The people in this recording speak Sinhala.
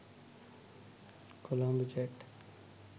colombo chat